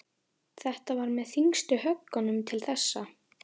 Þetta var með þyngstu höggunum til þessa.